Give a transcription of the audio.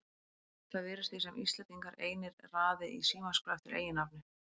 Það virðist því sem Íslendingar einir raði í símaskrá eftir eiginnafni.